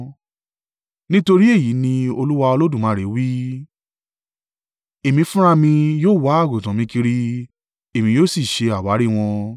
“ ‘Nítorí èyí ni Olúwa Olódùmarè wí: Èmi fúnra mi yóò wá àgùntàn mi kiri, èmi yóò sì ṣe àwárí wọn.